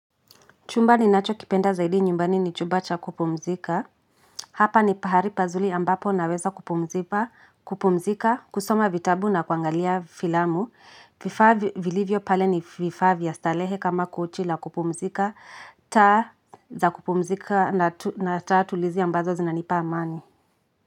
Chumba ninacho kipenda zaidi nyumbani ni chumba cha kupumzika. Hapa ni pahali pazuri ambapo naweza kupumzika, kusoma vitabu na kuangalia filamu. Vifa vilivyo pale ni vifaa vya starehe kama kochi la kupumzika, taa za kupumzika na taa tulizi ambazo zinanipa amani.